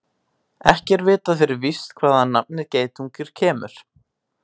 Ekki er vitað fyrir víst hvaðan nafnið geitungur kemur.